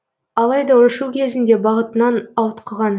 алайда ұшу кезінде бағытынан ауытқыған